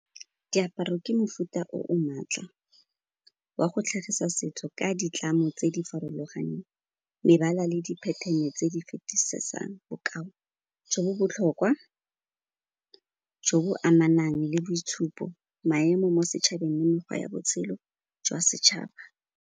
Diaparo ke mofuta o o maatla wa go tlhagisa setso ka ditlamo tse di farologaneng, mebala le di pattern-e tse di fetisisang bokao jo bo botlhokwa, jo bo amanang le boitshupo, maemo mo setšhabeng le mekgwa ya botshelo jwa setšhaba.